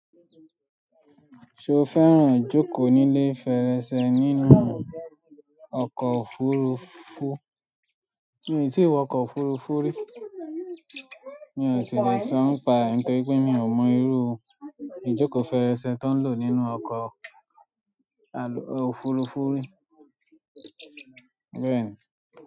Ṣo fẹ́ràn ijókòó ní ilé fèrèsé nínú ọkọ̀ òfurufú? Mi ò tí wọ ọkọ̀ òfurufú rí, mi ò sì le sọ npa, nítorí pé mi ò mọ irú ijoko fèrèsé tó n lò nínú ọkọ̀ òfurufú rí. Bẹ́ẹ̀ni.